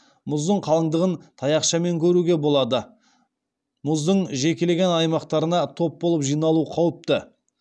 мұздың қалыңдығын таяқшамен көруге болады мұздың жекелеген аймақтарына топ болып жиналу қауіпті